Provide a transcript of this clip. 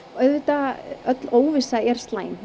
auðvitað öll óvissa er slæm